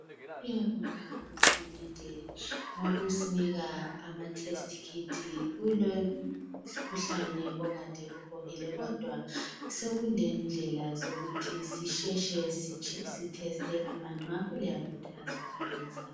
Siyabonga uhulumende ngokusinika amatest kit kulemikhuhlane okade ibhokile kodwa sekulendlela zokuthi sisheshe siteste abantu ngakho liyakhuthazwa ukuza.